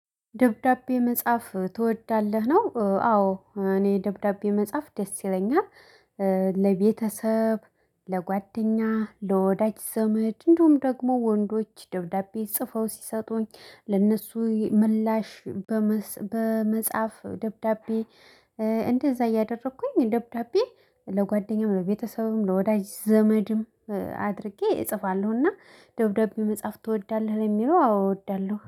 ደብዳቤ መጻፍ ትወዳለህ ነው አዎ እኔ ደብዳቤ መጻፍ ደስ ይለኛል። ለቤተሰብ ለጓደኛ ለወዳጅ ዘመድ እንደውም ደግሞ ወንዶች ደብዳቤ ፅፈው ሲሰጡኝ ለነሱ ምላሽ። በመጻፍ ደብዳቤ። እንደዛ እያደረኩኝ ደብዳቤ ለጓደኛም ለቤተሰብም ለወዳጅ ዘመድም አድርጌ እጽፋለሁ። እና ደብዳቤ መጽሐፍ ትወዳለህ የሚለው አዎ እወዳለሁ